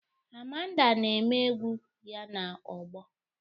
Amanda na-eme egwu ya na ogbo